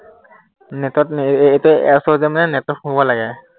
net এৰ এৰ এতিয়া net ত সোমাব লাগে